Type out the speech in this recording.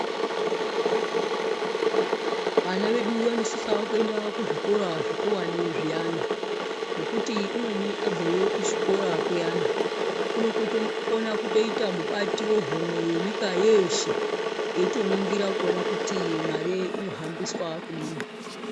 Vana vedu vanosisawo kuenda kuzvikora zvikuwani zviyana, ngokuti umweni abveyo kuzvikora kuyana, unokotokona kuita mubati wehomwe yenyika yeeshe, eitoningira kuti mare inohambiswa kudini.